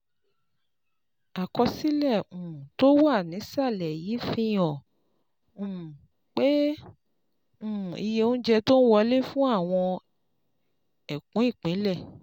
Àkọsílẹ̀ um tó wà nísàlẹ̀ yìí fi hàn um pé um iye oúnjẹ tó ń wọlé fún àwọn ẹkùn-ìpínlẹ̀